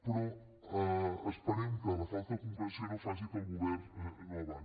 però esperem que la falta de concreció no faci que el govern no avanci